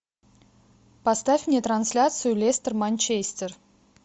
поставь мне трансляцию лестер манчестер